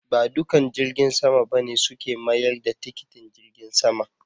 Ba dukan jirgin sama ba ne suke mayar da tikitin jirgin sama.